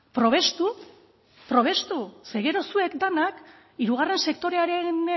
probestu probestu ze gero zuek denok hirugarren sektorearen